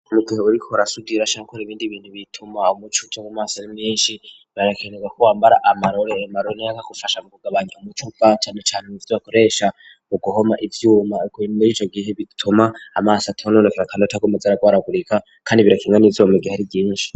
Mu gihe bariko barasudira canke bakora ibindi bintu bituma umuco uja mu maso ari mwinshi barakenera ko wambara amarore agufasha mu kugabanya umuco cane cane mu vyo bakoresha mu guhoma ivyuma muri ico gihe bituma amaso atononekera kandi ataguma aza aragwaragurika kandi birakinga n'izuba mu gihe ari ryinshi.